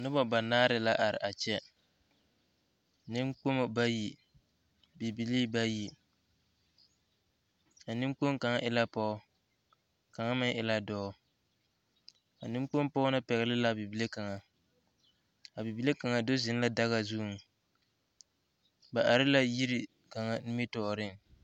Noba banaare la are a kyɛ nenkpomo bayi bibilii bayi a nenkpoŋ kaŋ e la pɔge kaŋ meŋ e la dɔɔ a nenkpoŋ pɔge na pɛgle la a bibile na kaŋa a bibile kaŋa do zeŋ la daga zuŋ ba are la yiri kaŋa nimitɔɔreŋ.